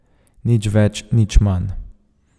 Nic več, nič manj.